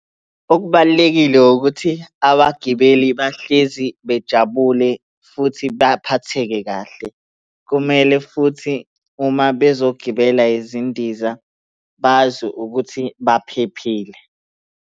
Okubalulekile ukuthi abagibeli bahlezi bejabule futhi baphatheke kahle. Kumele futhi uma bezongibela izindiza bazwe ukuthi baphephile.